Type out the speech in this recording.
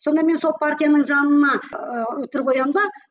сонда мен сол партияның жанына ыыы үтір қоямын да